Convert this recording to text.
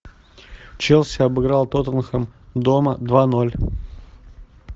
челси обыграл тоттенхэм дома два ноль